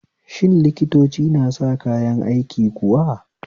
Shin likitoci na sa kayan aiki kuwa?